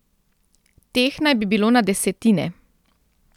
Teh naj bi bilo na desetine.